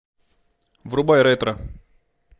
врубай ретро